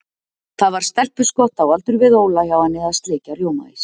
Það var stelpuskott á aldur við Óla hjá henni að sleikja rjómaís.